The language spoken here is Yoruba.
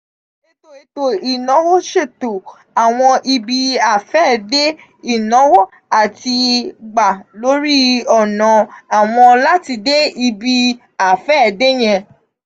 eto eto inawo ṣeto awọn ibi-afẹde inawo ati gba lori ọna (awọn) lati de ibi-afẹde yẹn.